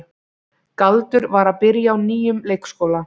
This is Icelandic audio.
Galdur var að byrja á nýjum leikskóla.